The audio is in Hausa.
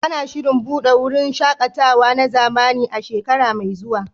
Ana shirin buɗe wurin shaƙatawa na zamani a shekara mai zuwa.